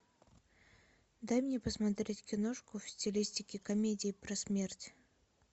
дай мне посмотреть киношку в стилистике комедии про смерть